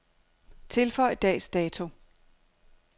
Tilføj dags dato.